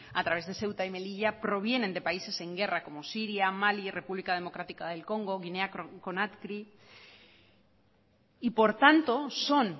a través de ceuta y melilla provienen de países en guerra como siria malí y república democrática del congo guinea conakry y por tanto son